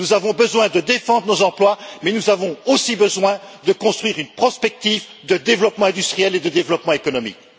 Nous avons besoin de défendre nos emplois, mais nous avons aussi besoin de construire une prospective de développement industriel et de développement économique.